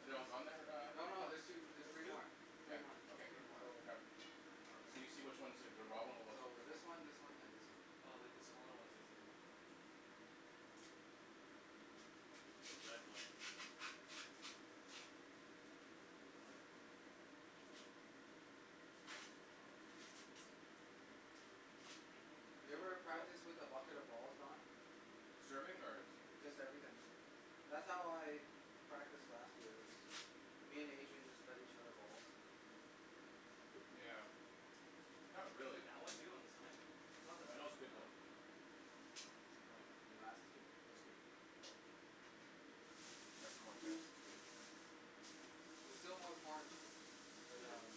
Are they all gone there, No, uh no. Alex? There's two, there's three There's two? more. Yeah, Three more. okay, There's more. So grab. So you see which ones are the, the raw one or what's the So, cooked this one. one, this one, and this one. Oh like, the smaller one basically. The red one. You ever practice with a bucket of balls, Don? Serving? Or? Just everything. That's how I practiced last year. I just, me and Adrian just fed each other balls. Yeah. Not really. That one too? On the side? Oh, that was good though. Here, last two. That's good. Grab a corn, guys. It's good. There's still more corn. But Mhm. um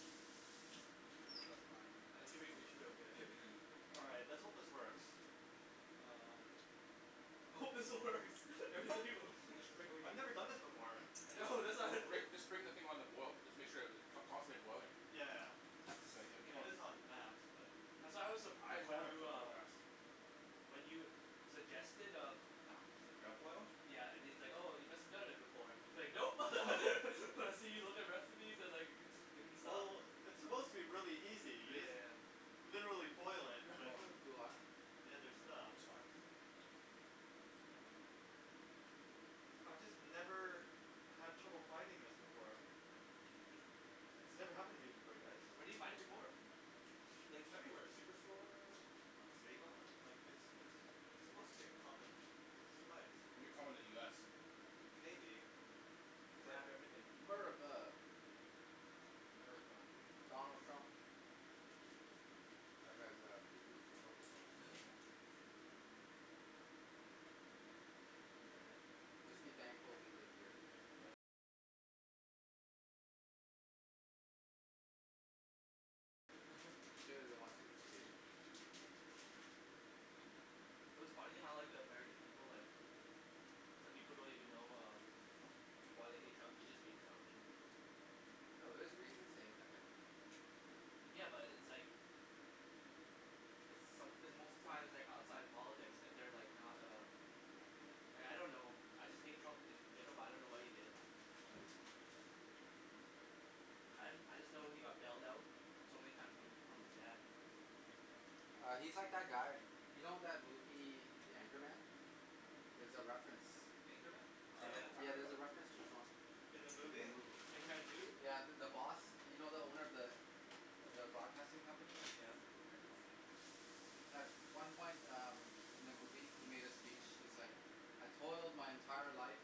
I'm sure it's fine. I think should be, it should be okay. All right. Let's hope this works. Um. I hope this works. Just bring I've never done this before. I know. that's why Rick, just bring the thing on the boil. Just make sure that it, con- constantly boiling. Yeah. It's, keep it on is on max, but That's why I was The surprised corn when will you cook real uh fast. When you suggested, uh Crab boil? Yeah, and he's like, "Oh you must have done it before." He's like, "Nope." I see you with the recipes. I was, like, in the Sub. Well, it's supposed to be really easy. You Yeah, yeah, just yeah. literally boil it with, Wow, too hot. the other stuff. It's hot. I just never had trouble finding this before. This never happened to me before, guys. Where did you find it before? Like everywhere. Superstore? save-on? Like, it's, it's a, it's supposed to be a common spice. Maybe common in the US. Maybe. Cuz they But have everything. America. America. Donald Trump. That guy's uh, coo coo for Coco Puffs. Mhm. Just be thankful we live here. Clearly they want to instigate it. It was funny how like the American people, like, some people don't even know uh why they hate Trump. They just hate Trump. No, there's reasons to hate that guy. Yeah, but it's like It's some- it's most of the time it's, like, outside politics if they're, like, not uh Like I don't know, I just hate Trump and they, but I don't know what he did, right? I, I just know he got bailed out so many time from, from his dad. Uh he's like that guy. You know that movie, The Anchorman? There's a reference. Anchorman? Uh Oh yeah. I yeah. heard There's about a it. reference to Trump. In the In the movie? movie. Anchorman two? Yeah, the, the boss. You know the owner of the, of the broadcasting company? Yeah. At one point um, in the movie, he made a speech. He's like, "I told my entire life.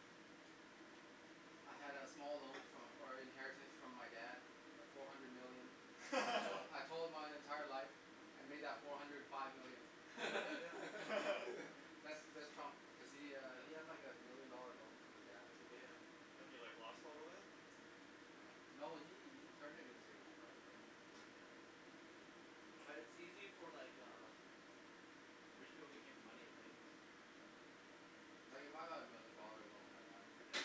I had a small loan fro- or inheritance from my dad of four hundred million. I told, I told my entire life and made that four hundred five million." That's, that's Trump cuz he uh he had like a million dollar loan from his dad or something. Yeah. And he, like, lost all of it? Yeah. No, he, he turned it into an empire though. Mhm. Like it's easy for, like, uh rich people to make money, right? Mhm. Like if I got a million dollar loan right now Yeah.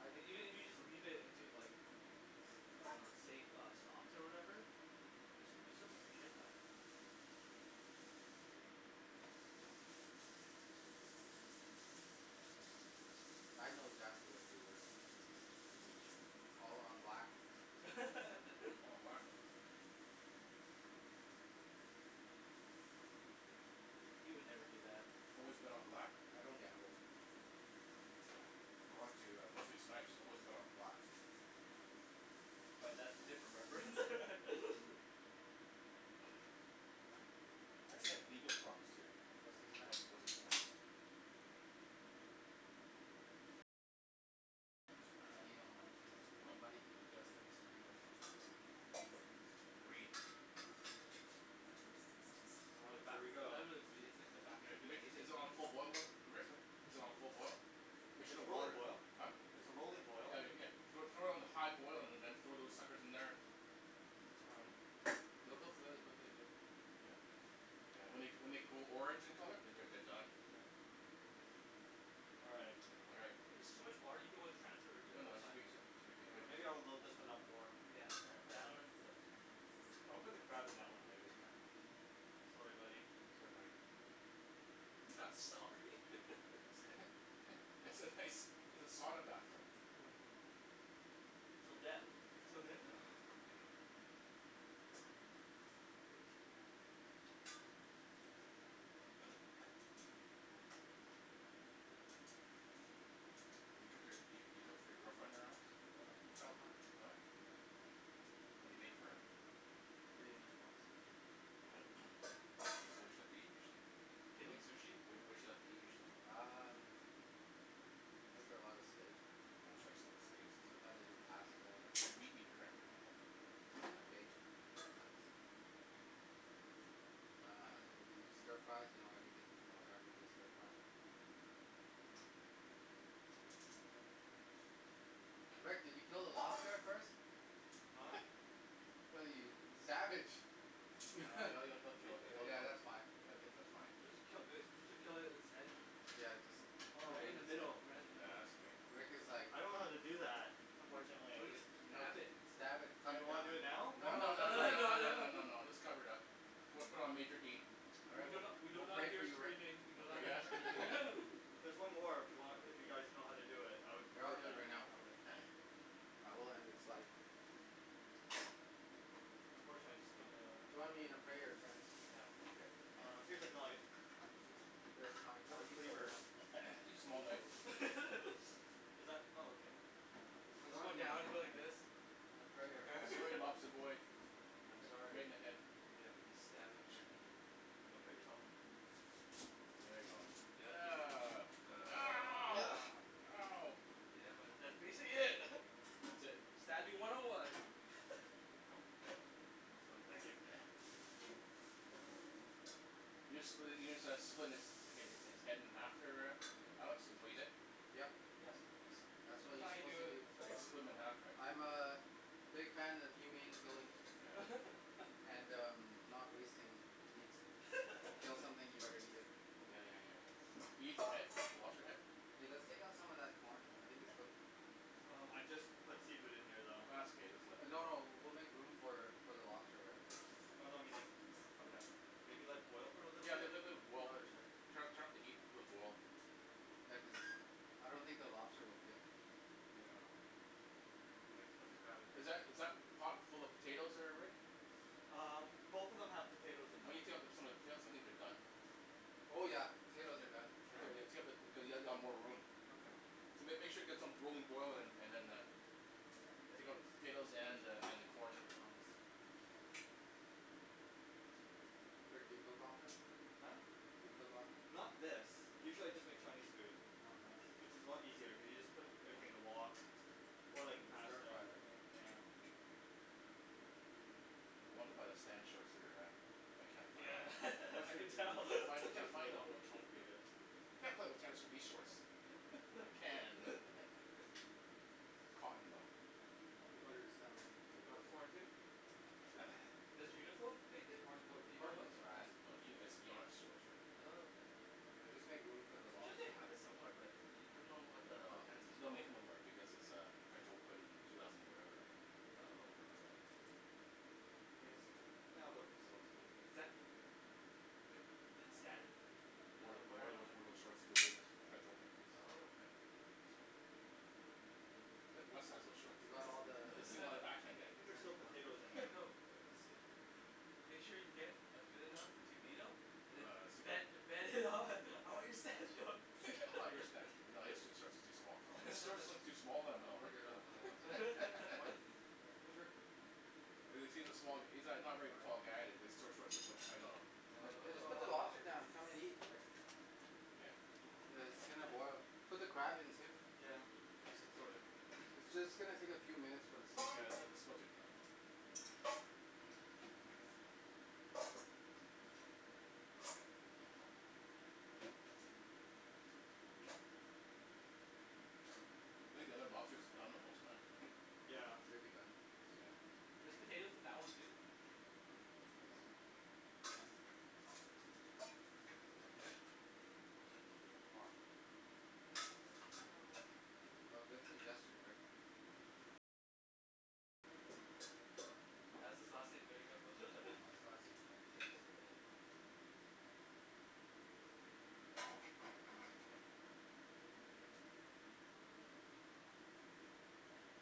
I'd Like, even if you just leave it into like s- uh safe uh stocks or whatever, you s- you still make a shit ton. I'd know exactly what to do with it. Mhm. All on black. All on black. He would never do that. Always No. bet on black? I don't gamble. According to uh, Wesley Snipes, always bet on black. But that's a different reference. I heard he had legal problems too. Wesley W- Snipes? Wesley Snipes. Uh, you know money things, money Hm? does things to people. Greed. Yeah. All right. Here we go. Good. Rick, is it, is it on full boil, Li- Rick? Is it on full boil? Make sure the It's roller water- boil. huh? It's a rolling boil. Yeah, Rick, yeah. Throw, throw it on high boil and then throw those suckers in there. All right. They'll cook really quickly too. Yeah. Yeah, when they g- when they go orange in colour, they're, they're, they're done. All right. All right. If it's too much water, you can always transfer it to, No, no, it should right? be, it should, it should be Yeah, good. maybe I'll load this one up more. Yeah. Yeah, Yeah. that one looks I'll put the crab in that one, maybe. Okay. Sorry, buddy. Sorry, buddy. You're not sorry. It's a nice, it's a sauna bathroom. Till death. Till death. Yeah. Do you cook your, do you, do you cook for your girlfriend at her house? Yeah, all the time. Oh yeah. Yeah. What do you make for her? Anything she wants. What? What, what does she like to eat usually? Can you eat sushi? What, what does she like to eat usually? Um. I make her a lot of steak. Oh she likes, like, Yeah. steaks? Sometimes I do pasta. Meat eater, eh? Um. I bake. Sometimes. Hm. Uh and we do stir fries, you know everything can be Oh turned into a yeah. stir fry. Rick, did you kill the lobster first? Huh? Ew, you, you savage. Yeah. Ye- Yeah, it'll, it'll, it'll kill, it'll kill yeah, it that's fine. Yeah, that's, that's fine. Supposed to kill uh are you suppose to kill it, its head? Yeah, Oh. Right in the just middle, right in the middle. Rick was like I don't know how to do that, Or unfortunately. Or just, just you know, stab it. stab it. Do Cut you it wanna down. do it now? No, No, no, no, no, no, too no, No, late. no, no, no, no. no, no, just cover it up. Put it, put it on major heat. All We right. do We'll, not, we do we'll not pray for hear you Rick. screaming, we do We'll not pray, yeah hear screaming. There's one more if you want, if you guys know how to do it. I would Yeah, I'll prefer do it that, right now. actually. Yeah, we'll end its life. Unfortunately, I just don't know Join me in a prayer, friends. Yeah. Okay. Uh, here's a knife. Okay, fine. I'll use Is that? Oh okay. Or just go Join me now down, you go like this. in a prayer, friends. Sorry, lobster boy. I'm Right sorry. in the head. Yeah. Stab him. Don't cut yourself. There you go. Ugh. Ow. Ow. Yeah, but that's basically it. That's it. Stabbing one oh one. Oh, thank you. You just split it, you just uh split its, hi- hi- his head in half there, uh Alex? Is what you did? Yep. Yes. That's what That's you're how you supposed do to it, do. that's how You you do split it. him in half, Oh. right? I'm a big fan of humane killing. And um, not wasting meats. You kill something, you better eat it. Yeah, yeah, yeah, yeah. Do you eat the head? The lobster head? Hey, let's take out some of that corn. I think it's cooked. Oh, I just put seafood in here, though. Ah, it's okay. Just let it No, boil. no. We'll make room for, for the lobster, right? Oh no, I mean like, okay. Maybe let it boil for a little Yeah, bit? let- let- let it boil. Okay, sure. Turn up, turn up the heat, let it boil. Yeah, cuz uh, I don't think the lobster will fit. Yeah. just put the crab in here, Is that, is that too. pot full of potatoes there, Rick? Um, both of them have Why potatoes in them. don't you take out the, some of the potatoes? I think they're done. Oh yeah. Potatoes are done for sure. Yeah? Yeah, yeah, take out the, cuz you'll ha- you'll have more room. Okay. So make, make sure you get some rolling boil and, and then uh, take out the potatoes and uh, and the corn. Rick, do you cook often? Huh? Do you cook often? Not this. Usually I just make Chinese food. Oh nice. Which is a lot easier, you can just put everything in a wok. Or, And like, stir pasta fry, or something. right? Yeah. I wanna buy the Stan shorts there, uh but I can't find Yeah. them. I Western can food tell. Can't find, is can't usually a find them. lot more complicated. Can't play with tennis in these shorts. I can, but. Cotton though. I don't think there's that many You potatoes. want corn, too? Sure. Does Uniqlo make it? Corn cook, Do you know corn what cooks No, fast. brand? no, Ye- it's Yonex shorts, right? Oh okay. Yeah, just make room for the I'm sure they lobster, yeah? have it somewhere but, you, you don't know what the Well, it's, and they don't make it no more because it's uh French Open two thousand whatever, right? Oh. Is that Did Stan Uh Wore, wear it wore those, on wore those uh short to win his French Open. Oh okay. So. Good? Wes has those shorts. You got all the s- a back hand guy. I think is there's there still anymore? potatoes in there as well. Let's see. Make sure you get uh good enough to beat him and then No, uh, he's too bet, good. bet him on all your Stan shorts. All your Sta- no, his shorts are too small. His Oh. shorts look too small on. No, we're good on potatoes. Corn? Yeah. Sure. Cuz, cuz he's a small, he's not, not a very tall guy and his short, shorts look, look tight on him. Yeah, just Oh put the lobster down. Come and eat, Rick. Yeah. Yeah, it's gonna boil. Put the crab in too. Yeah. It's just gonna take a few minutes for the Yeah, seafood. the, the, the spuds are done. Think the other lobster's done almost, man. Yeah. Should be done. Soon. There's potatoes in that one too? Ooh. Hot. No. Oh good suggestion, Rick. That's his last name, there you Oh go. his last name.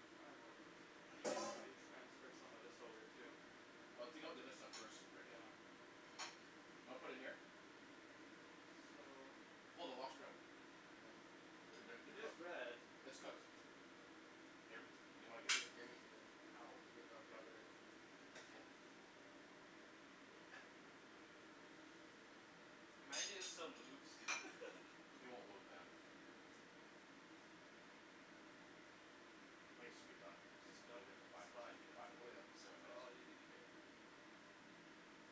transfer some of this over, too. Well, take out the other stuff first, Rick. You wanna put it in here? So Pull the lobster out. Yeah. They're good, they're It is cooked. red. It's cooked. Hey, Rick. Do you? Can Ow. you give up, Okay. brother? Uh huh. Imagine it still moves. It won't move, man. I think it should be done. It's been in Don't there for five, splash ten, me up five, there. Oh yeah. seven That's minutes. all you need to care about. More?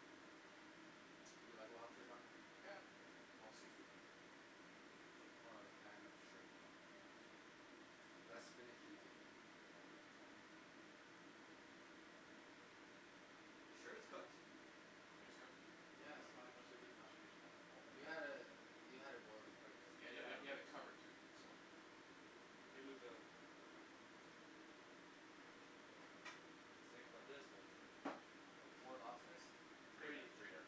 Do you like lobster, Don? Yeah. All seafood. I'm more of a fan of shrimp. Less finicky to eat, Yeah. so. You sure it's cooked? Think it's cooked? Yeah, it's fine. Should be fine. Should be fine. You had it, you had it boiling quite a bit. Yeah, you had, you Yeah. had, you had it covered too, so. the Oh. Oh. I was thinking about this part here. Oh, four lobsters? Three Three. there.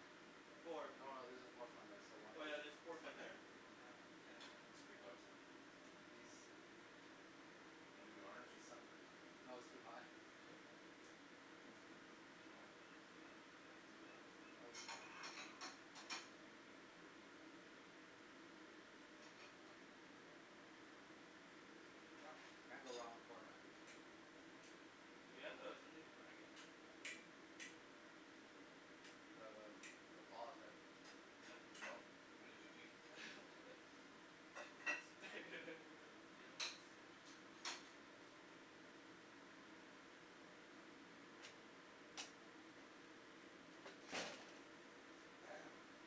No, Four. no, there's there a fourth one there. So one Oh l- yeah, there's a fourth one here. Oh yeah, Looks pretty I cooked. think He's, Wanna do the honors? he's suffered. No, it's too hot. Yeah. Is it too hot? Oh. Yeah. It's too hot. I'll eat corn. Can't Yep. go wrong with corn, man. Mhm. Do we have uh something to crack it, by the way? The um, the claws, right? Yeah. No. We use your teeth. Potato.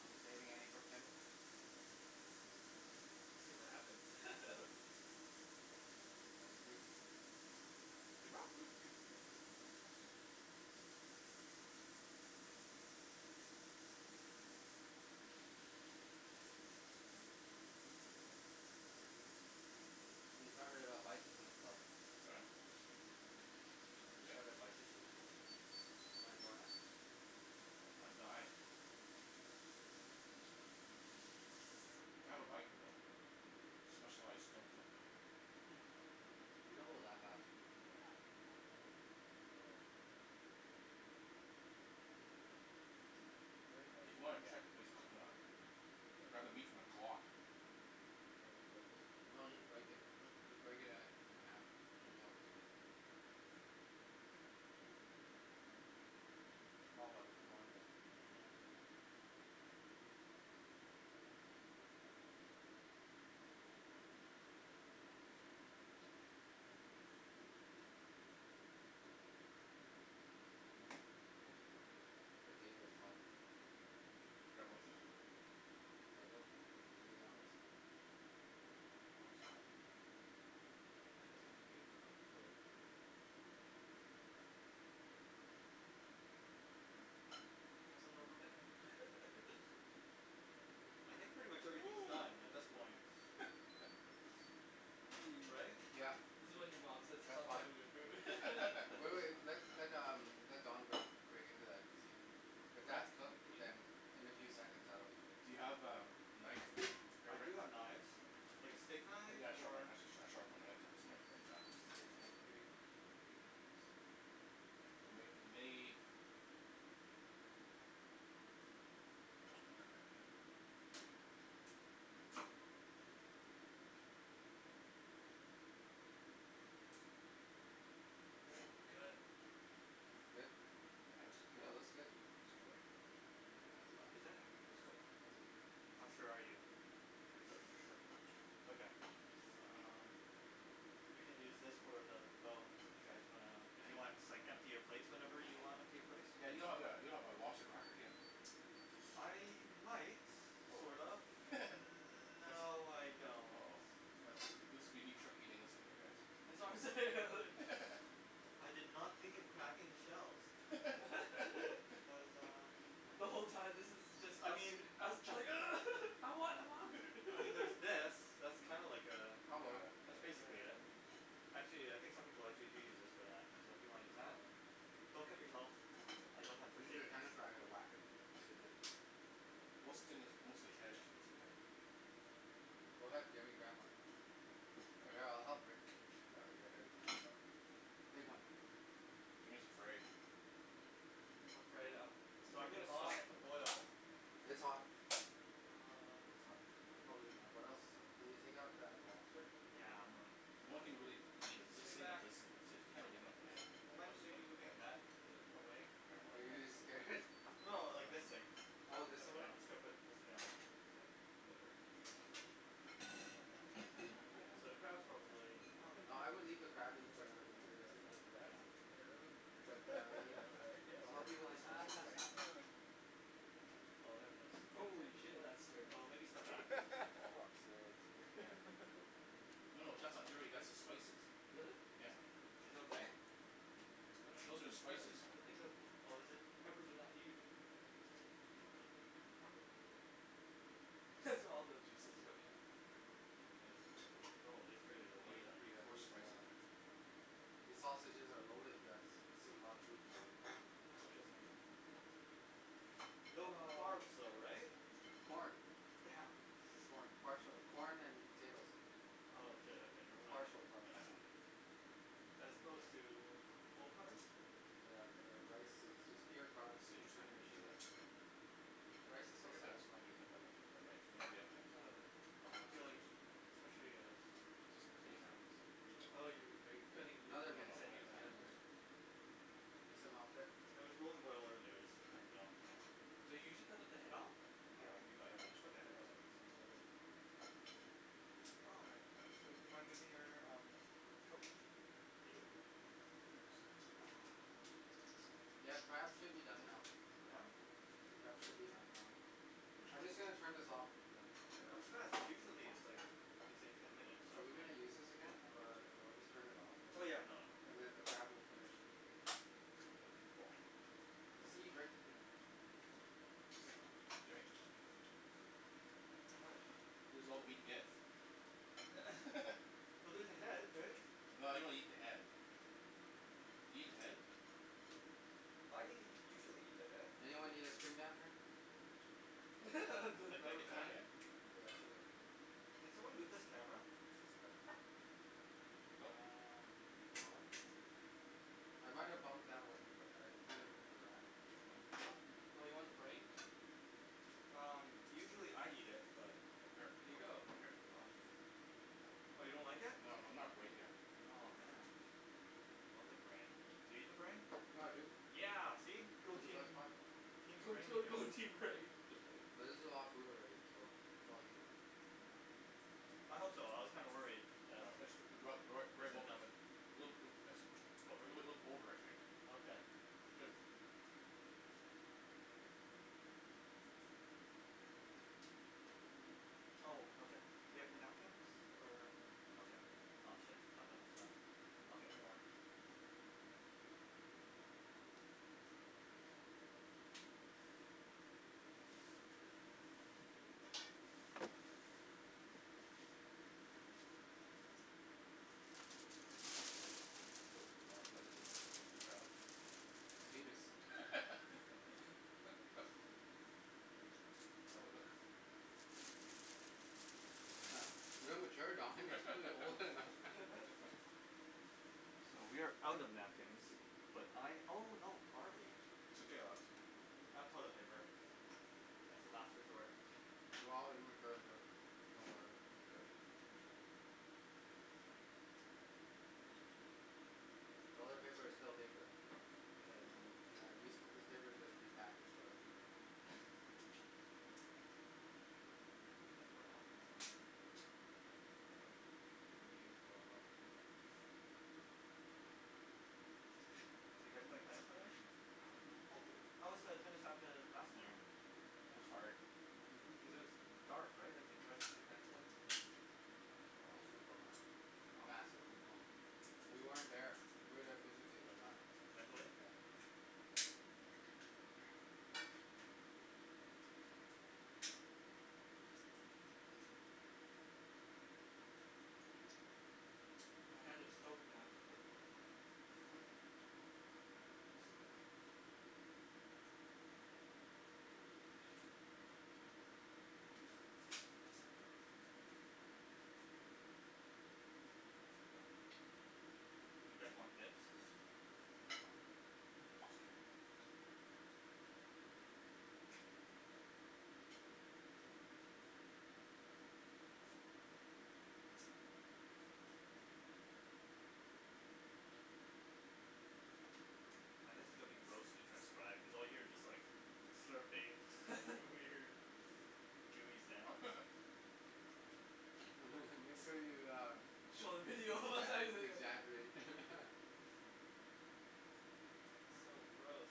Are we saving any for Kim? We'll see what happens. Hm. That's true. She bought food too, so. Hm? We started a bicycling club. Huh? Who We did? started a bicycling club. You wanna join us? Uh, I'd die. I have a bike though. Specialized Mhm. We don't go that fast. Oh. If you wanna check if it's cooked or not Grab the meat from the claw. No, just break it. Just break it uh in half. You Mm. can tell if it's cooked. I'm all about the corn though. Mhm. Oh. Potato's hot. Could you grab? Do the honors. Oh it's hot. Have some rubberband. I think pretty much everything's done at this point. Wee. Right. Yeah. This is when your mom says, That's "Stop fine. playing with your food." Wait, wait. Let, let um, let Don break, break into that and see. If Wreck? that's cooked, You mean? then in a few seconds that will be Do cooked. you have a knife there, I do Rick? have knives. Like a steak knife? Yeah, a sharp knife, Or? a sh- sh- sharp one. I'm gonna cut this right, right in half, I think. Yeah. Nice. It may, it may Good. Good? Yeah, it's Yeah, it looks cooked. good. It's cooked. Yeah, it's fine. It's cooked. Yeah, How it's cooked. sure are you? Pretty cooked for sure. Okay. Um You can use this for the bones if you guys wanna, if you want, just, like, empty your plate whenever you wanna empty your plates. Yeah, Yeah, you you don't don't have have that, a Oh. don't have a lobster cracker, do you? I might, Oh. sort of. Mm- That's, no, I don't. oh. That's wha- this will be neat trick eating this thing here, That's guys. what I'm saying. I did not think of cracking the shells. There's um The whole time this is just I us. mean Us trying, "Ugh. I want, I want." I mean there's this. That's kinda like uh, That'll work. that's Oh basically yeah. it. Actually, yeah, I think some people, like, they do use this for that, so if you wanna use that? Oh. Don't cut yourself. I don't have first Use aid your kits. tennis racket, wack it. Most of the thing that's, mostly. Go ahead, Jimmy, grab one. All right, I'll help Rick. you get everything else up. Take one. Jimmy's afraid. I'm afraid um, it's So I'm freaking gonna stop hot. the boil. It's hot. It's hot. Um. Can probably Uh, what else. Can we take out that lobster? Yeah, I'm The gonna only thing to really eat is this thing and this thing. That's it. You can't Mhm. really eat the head, well, unless you want to eat the head. Yeah. Are you scared? No, like, this thing. All of this away? Yeah, I'm just gonna put this down so I don't have to So, the crab is probably, No, oh I would leave the crab in for another minute or two. Yeah. But uh you, I'll help you with the sausages. Oh, there it is. Holy shit. That's dirty. Oh, maybe step What? back because this might fall. Yeah. No, no, that's not dirty, that's the spices. Really? Yeah Is it okay? I Those don't are the think that, spices. I don' think that, Oh, is it? peppers are that huge. That's all the juices coming out. Oh, this. eat pretty Yeah, coarse these spices uh here. These sausages are loaded guys. This is a lot of food. No Ah carbs though, right? Corn. Damn. Corn, parts of corn and potatoes. Oh shit okay never mind then. Partial carbs. As opposed to, full carbs? Yeah uh rice is just pure carbs This is interesting, and eating sugar. this. Rice is so Look at this satisfying to eat take though. a knife, or the other thing, Yeah, Um. I feel like, scissors. especially as This isn't clean enough. No Oh no, you, are you cutting, you Another I'm gonna, you minute, said I'm use another gonna that do this. minute. right? You need some help there? It was really boiling over there so I just turned it off so Do you usually cut off the head off? Yeah, okay, yeah, we let's usually cut focus the head on off. Okay. the Wow. Hey, do you mind moving your um, coke, thank you Ah. Yeah, the crab should be done now. Yeah? The crab should be done now. I'm just going to turn this off. That was fast, cuz usually it's like it's like ten minutes. Are we going to use this again? Or I'll just turn it off, Oh and, yeah nah. and then the crab will finish. Okay, cool. Holy See Rick shit. Jimmy. This is all the meat he gets. Well there's the head right? Well I don't eat the head. Do you eat the head? I usually eat the head. Anyone need extra napkin? Yeah it's okay. Did someone move this camera? Nope. Uh No. no. I might have bumped that one but I kind of moved it back. Oh you want the brain? Um usually I eat it but Here. Here you go! Come here. Oh. Oh you don't like it? No I'm not brain guy. Aw man. I love the brain. Do you eat the brain? Yeah dude. Yeah! See? Go It's the best team. part. Team Go brain here. team go team brain. But this is a lot of food already, so it's all you. I hope so, I was kinda worried that a it wasn't enough. little bit a little over I'd say. Okay. It's good. Oh okay. Do we have the napkins? Or. Okay. Aw shit, there's not that much left. I'll get more. S- still too hot. What is, this looks like A penis? Real mature Don, you're supposed to be older than that So we are out of napkins, but I oh no, are we It's okay I'll have some. I have toilet paper as the last resort. We're all immature here, don't worry. It's very Asian. Toilet paper is still paper. I guess. Mm. Yeah, these, this paper is just repackaged toilet paper. Oh, I thought I had more napkins somewhere. Well. Hiccup. Maybe we used it a lot. So you guys playing tennis later? Mhm. Hopefully. How was the tennis at the It was hard. Mhm. Cuz it was dark right, like how did you guys play? Just food coma. Massive food coma. We weren't there. We were there physically, but not Mentally? Yeah. My hands are stoked now. Do you guys want bibs? It's fine. It's okay. Now this is gonna be gross to transcribe, cuz all you hear is just like, slurping weird gooey sounds. Make sure you uh Show the video exa- exaggerate So gross.